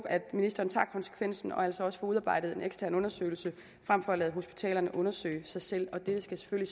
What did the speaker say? at ministeren tager konsekvensen og altså også får udarbejdet en ekstern undersøgelse frem for at lade hospitalerne undersøge sig selv det skal